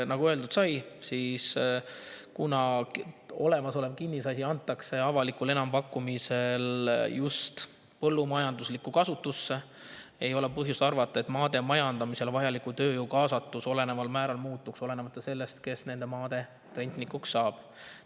Nagu öeldud sai, kuna olemasolev kinnisasi antakse avalikul enampakkumisel just põllumajanduslikku kasutusse, ei ole põhjust arvata, et maade majandamiseks vajaliku tööjõu kaasatus olulisel määral muutuks, olenemata sellest, kes nende maade rentnikuks saab.